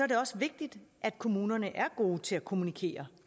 det også vigtigt at kommunerne er gode til at kommunikere